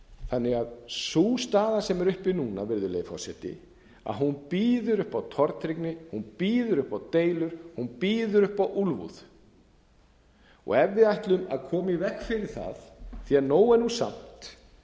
þannig að sú staða sem er uppi núna virðulegi forseti býður upp á tortryggni hún býður upp á deilur hún býður upp á úlfúð ef við ætlum að koma í veg fyrir það því nóg er nú samt verðum við